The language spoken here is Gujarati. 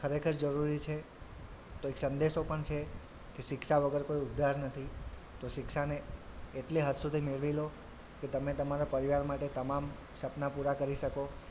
ખરેખર જરૂરી છે તો એક સંદેશો પણ છે કે શિક્ષા વગર કોઈ ઉદ્ધાર નથી તો શિક્ષાને એટલે હદ સુધી મેળવી લો કે તમે તમારાં પરિવાર માટે તમામ સપના પુરા કરી શકો.